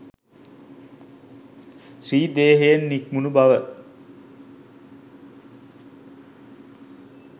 ශ්‍රී දේහයෙන් නික්මුණු බව